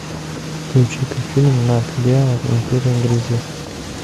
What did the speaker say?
включи ка фильм нат гео империя гризли